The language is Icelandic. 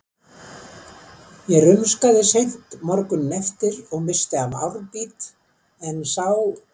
Ég rumskaði seint morguninn eftir og missti af árbít, en sá